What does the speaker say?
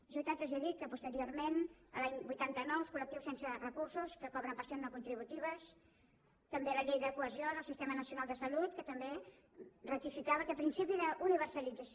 és veritat que els he dit que posteriorment l’any vuitanta nou els col·lectius sense recursos que cobren pensions no contributives també la llei de cohesió del sistema nacional de salut que també ratificava aquest principi d’universalització